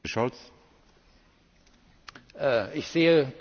Ich sehe durchaus die Chance dafür, Kollege Rübig!